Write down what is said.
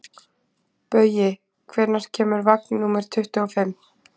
Baui, hvenær kemur vagn númer tuttugu og fimm?